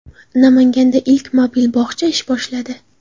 Namanganda ilk mobil bog‘cha ish boshladi .